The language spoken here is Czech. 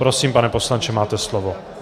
Prosím, pane poslanče, máte slovo.